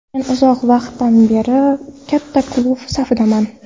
Men uzoq vaqtdan beri katta klub safidaman.